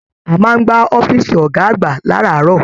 A máa n gbà ọ̀fiísí ọgá àgbà láràárọ̀.